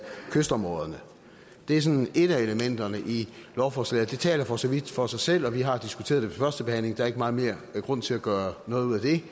kystområderne det er sådan et af elementerne i lovforslaget det taler for så vidt for sig selv og vi har diskuteret det ved første behandling der er ikke meget mere grund til at gøre noget ud af det